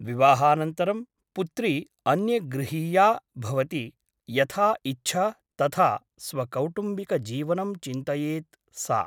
विवाहानन्तरं पुत्री अन्यगृहीया भवति । यथा इच्छा तथा स्वकौटुम्बिकजीवनं चिन्तयेत् सा ।